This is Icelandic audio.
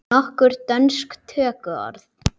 Nokkur dönsk tökuorð